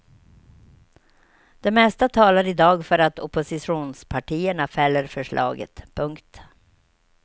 Det mesta talar i dag för att oppositionspartierna fäller förslaget. punkt